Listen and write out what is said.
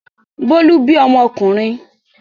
Bólú bí ọmọkùnrin.